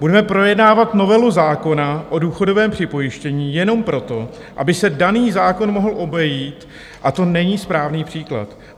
Budeme projednávat novelu zákona o důchodovém připojištění jenom proto, aby se daný zákon mohl obejít, a to není správný příklad.